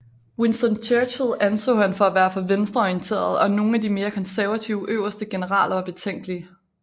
Winston Churchill anså han for at være for venstreorienteret og nogle af de mere konservative øverste generaler var betænkelige